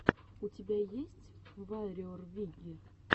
у тебя есть варриор виги